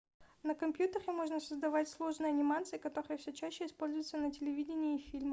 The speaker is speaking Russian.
на компьютере можно создавать сложные анимации которые все чаще используются на телевидении и в фильмах